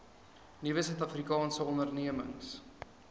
nuwe suidafrikaanse ondernemings